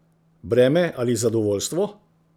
Breme ali zadovoljstvo?